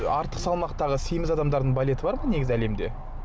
артық салмақтағы семіз адамдардың балеті бар ма негізі әлемде